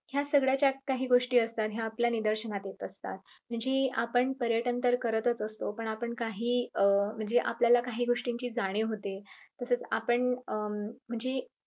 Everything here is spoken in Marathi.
ह्या सगळ्या च्यात काही गोष्टी असतात ह्या आपल्या निदर्शनात येत असतात. म्हणजे आपण पर्यटन तर करत असतो पण आपण काही अं म्हणजे आपल्याला काही गोष्टींची जाणीव होते तसेच आपण अं म्हणजे